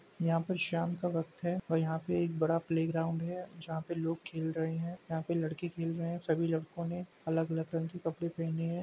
यहाँ पर शाम का वक्त है और यहाँ पे एक बड़ा प्ले ग्राउंड है। जहाँ पे लोग खेल रहे हैं। यहाँ पे लड़के खेल रहे हैं। सभी लड़कों ने अलग-अलग रंग के कपड़े पहने हैं।